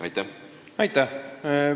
Aitäh!